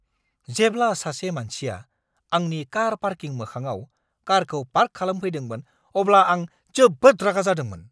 जेब्ला सासे मानसिया आंनि कार पार्किं मोखाङाव कारखौ पार्क खालामफैदोंमोन अब्ला आं जोबोद रागा जादोंमोन।